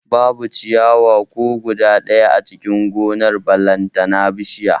Babu ciyawa ko guda ɗaya a cikin gonar ballantana bishiya